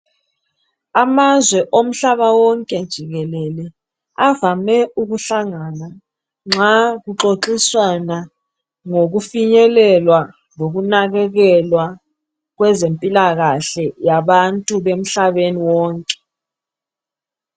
Amazwe omhlaba wonke jikelele avame ukuhlangana nxa kuxoxiswana ngokufinyelela lokunakakelwa kweze mpilakahle yabantu bemhlabeni wonke